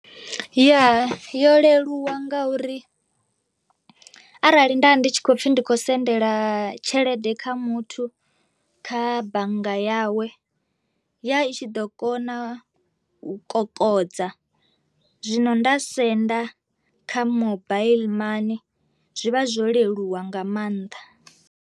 Ya yo leluwa ngauri arali nda ndi tshi khou pfhi ndi khou sendela tshelede kha muthu kha bannga yawe ya i tshi ḓo kona u kokodza, zwino nda senda kha mobile money zwi vha zwo leluwa nga maanḓa.